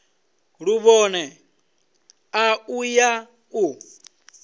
luvhone a u ya u